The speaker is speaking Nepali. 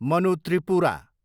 मनु त्रिपुरा